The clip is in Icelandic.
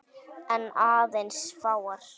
En aðeins fáar.